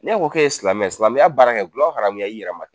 N'e ko k'e ye silamɛ silamɛya baara kɛ dulɔ haramuya i yɛrɛ ma